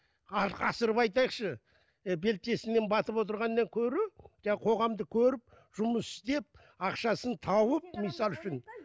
асырып айтайықшы ы белшесінен батып отырғаннан гөрі жаңағы қоғамды көріп жұмыс істеп ақшасын тауып мысалы үшін